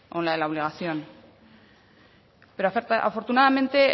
o en la de la obligación pero afortunadamente